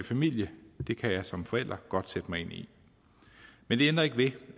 familie det kan jeg som forælder godt sætte mig ind i men det ændrer ikke ved